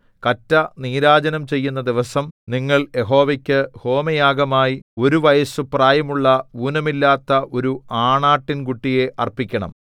കറ്റ നീരാജനം ചെയ്യുന്ന ദിവസം നിങ്ങൾ യഹോവയ്ക്കു ഹോമയാഗമായി ഒരു വയസ്സു പ്രായമുള്ള ഊനമില്ലാത്ത ഒരു ആണാട്ടിൻകുട്ടിയെ അർപ്പിക്കണം